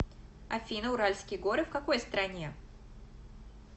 афина уральские горы в какой стране